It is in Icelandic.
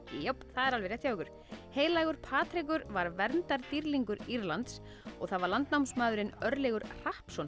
það er alveg rétt hjá ykkur heilagur Patrekur var verndardýrlingur Írlands og það var landnámsmaðurinn Örlygur